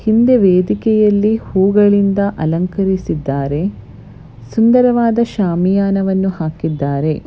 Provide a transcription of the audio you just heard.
ಹಿಂದೆ ವೇದಿಕೆಯಲ್ಲಿ ಹೂಗಳಿಂದ ಅಲಂಕರಿಸಿದ್ದಾರೆ ಸುಂದರವಾದ ಶಾಮಿಯಾನವನ್ನು ಹಾಕಿದ್ದಾರೆ.